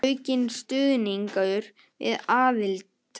Aukinn stuðningur við aðild